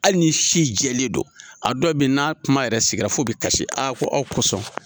Hali ni si jɛlen don, a dɔ bɛ yen n'a kuma yɛrɛ sigira fo bɛ kasi aa ko aw kosɔn.